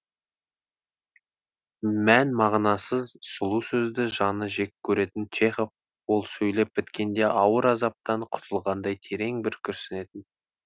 мән мағынасыз сұлу сөзді жаны жек көретін чехов ол сөйлеп біткенде ауыр азаптан құтылғандай терең бір күрсінетін